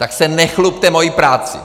Tak se nechlubte mojí prací!